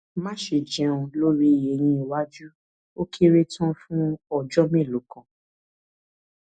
máṣe jẹun lórí eyín iwájú ó kéré tán fún ọjọ mélòó kan